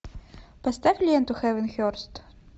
поставь ленту хэвенхерст